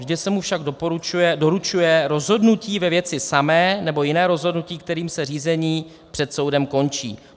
Vždy se mu však doručuje rozhodnutí ve věci samé nebo jiné rozhodnutí, kterým se řízení před soudem končí.